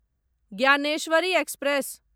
Dnyaneshwari express